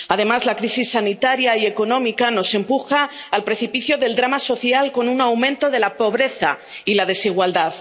Además, la crisis sanitaria y económica nos empuja al precipicio del drama social con un aumento de la pobreza y la desigualdad.